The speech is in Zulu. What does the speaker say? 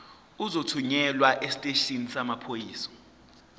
uzothunyelwa esiteshini samaphoyisa